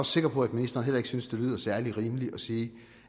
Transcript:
sikker på at ministeren heller ikke synes at det lyder særlig rimeligt at sige